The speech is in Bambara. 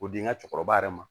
O di n ka cɛkɔrɔba yɛrɛ ma